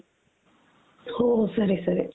ಹೋ ಸರಿ ಸರಿ